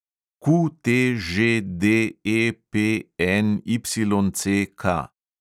QTŽDEPNYCK